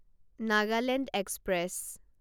Nagaland express